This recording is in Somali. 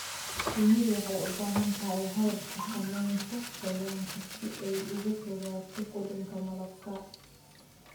Shinnidu waxay u baahan tahay habab xakamaynta qoyaanka si ay uga fogaato qudhunka malabka.